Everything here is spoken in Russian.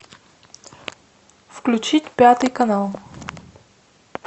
включить пятый канал